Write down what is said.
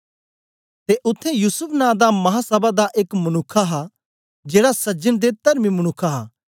ते उत्थें युसूफ नां दा महासभा दा एक मनुक्ख हा जेड़ा सज्जन ते तरमी मनुक्ख हा